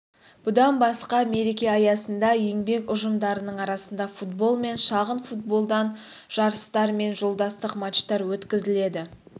бұдан басқа мереке аясында еңбек ұжымдарының арасында футбол мен шағын футболдан жарыстар мен жолдастық матчтар өткізіледі